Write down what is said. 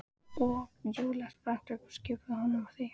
Og Júlía spratt upp, skipaði honum að þegja.